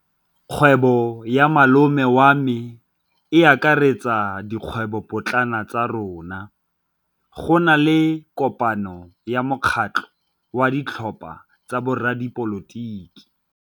Kgwêbô ya malome wa me e akaretsa dikgwêbôpotlana tsa rona. Go na le kopanô ya mokgatlhô wa ditlhopha tsa boradipolotiki.